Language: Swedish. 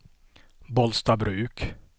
Bollstabruk